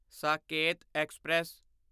Saket express